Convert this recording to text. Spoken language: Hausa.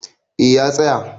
eh ya tsaya